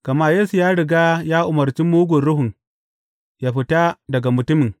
Gama Yesu ya riga ya umarci mugun ruhun ya fita daga mutumin.